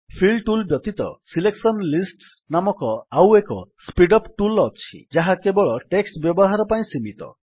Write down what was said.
feel tool ବ୍ୟତୀତ selection lists ନାମକ ଆଉ ଏକ ସ୍ପୀଡ୍ ଅପ୍ ଟୁଲ୍ ଅଛି ଯାହା କେବଳ ଟେକ୍ସଟ୍ ବ୍ୟବହାର ପାଇଁ ସୀମିତ